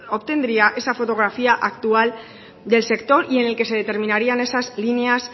obtendría esa fotografía actual del sector y en el que se determinarían esas líneas